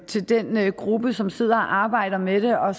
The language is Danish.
til den gruppe som sidder og arbejder med det og